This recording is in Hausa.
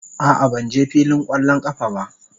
A'a, ban je filin kwallon kafa ba.